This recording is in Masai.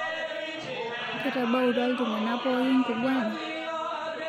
Ketabautwa ltungana pooki nkugwana